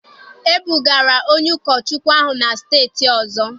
E bugara onye ụkọchukwu ahụ na steeti ọzọ.